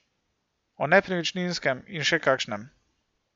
O nepremičninskem in še kakšnem.